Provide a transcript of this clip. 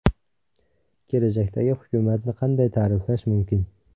Kelajakdagi hukumatni qanday ta’riflash mumkin?